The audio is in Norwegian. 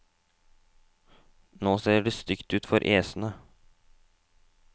Nå ser det stygt ut for æsene.